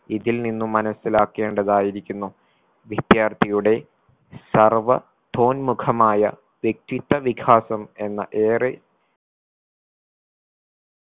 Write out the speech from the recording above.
ഇതിൽ നിന്നും മനസിലാക്കേണ്ടതായിരിക്കുന്നു വിദ്യാർത്ഥിയുടെ സർവ്വ വോന്മുഖമായ വ്യക്തിത്വ വികാസം എന്ന ഏറെ